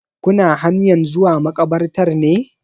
Kuna hanyan zuwa makabartar ne?